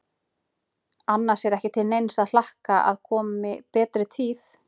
Annars er ekki til neins að hlakka að komi betri tíð.